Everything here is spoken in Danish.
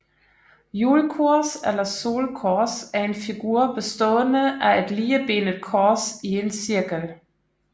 Hjulkors eller solkors er en figur bestående af et ligebenet kors i en cirkel